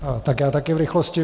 Tak já taky v rychlosti.